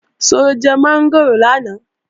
Ṣó jẹ mọ́ngòrò lánàá?